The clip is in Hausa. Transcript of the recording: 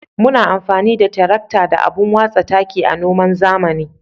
Muna amfani da tirakta da abun watsa taki a noman zamani.